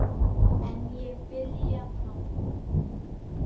En ég byrja bráðum.